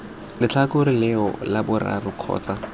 letlhakore leo la boraro kgotsa